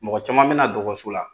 Mɔgɔ caman bɛ na dɔgɔtɔrɔso la